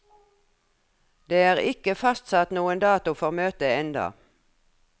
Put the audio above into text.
Det er ikke fastsatt noen dato for møtet enda.